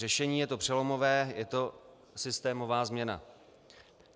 Řešení je to přelomové, je to systémová změna.